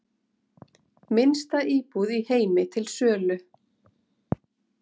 Minnsta íbúð í heimi til sölu